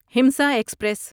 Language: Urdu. ہمسا ایکسپریس